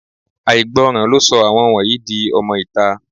Àìgbọràn ló sọ àwọn wọ̀nyí di ọmọ-ìta